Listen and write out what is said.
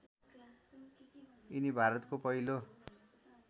यिनी भारतको पहिलो